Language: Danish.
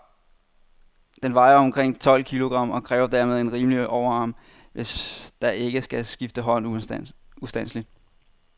Den vejer omkring tolv kilogram, og kræver dermed en rimelig overarm, hvis der ikke skal skifte hånd ustandseligt.